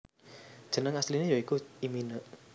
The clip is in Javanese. Jeneng asliné ya iku imina